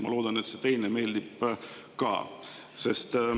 Ma loodan, et see teine meeldib ka.